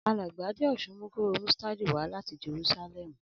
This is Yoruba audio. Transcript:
Alàgbà Adéòsun mu kóróo mustadi wa láti Jerúsálèmù